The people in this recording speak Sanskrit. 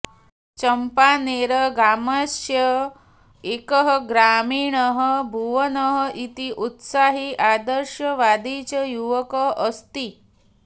चम्पानेरग्रामस्य एकः ग्रामीणः भूवनः इति उत्साही आदर्शवादी च युवकः अस्ति